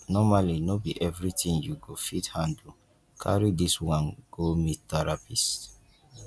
nomally no be everytin you go fit handle carry dis one go meet therapist